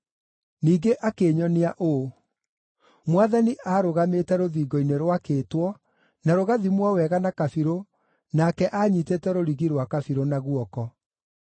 Ningĩ akĩnyonia ũũ: Mwathani aarũgamĩte rũthingo-inĩ rwakĩtwo na rũgathimwo wega na kabirũ nake anyiitĩte rũrigi rwa kabirũ na guoko.